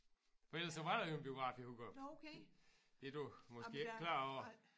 For ellers så var der jo en biograf i Hurup. Det du måske ikke klar over